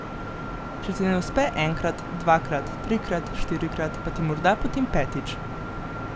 Če ti ne uspe enkrat, dvakrat, trikrat, štirikrat, pa ti morda potem petič.